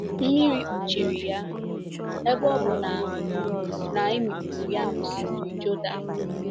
Mmiri kpuchiri ya, ebe ọ bụ na na e mikpuru ya n’Osimiri Jọdan.